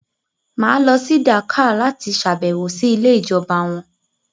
Mà á lọ sí Dakar láti sàbẹ̀wò sí ilé ìjọba wọn.